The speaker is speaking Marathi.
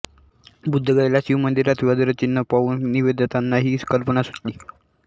बुद्धगयेला शिवमंदिरात वज्रचिह्न पाहून निवेदितांना ही कल्पना सुचली